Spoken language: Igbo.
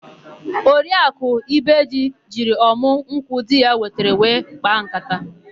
Oriakụ ibeji jiri ọmụ nkwụ di ya wetara wee kpaa nkata.